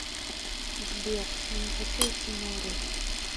сбер я не хочу идти на уроки